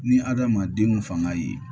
Ni adamaden fanga ye